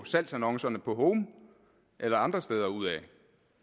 salgsannoncer eller andre steder ud